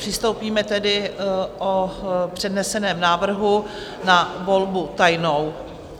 Přistoupíme tedy o předneseném návrhu na volbu tajnou.